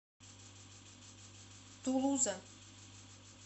тулуза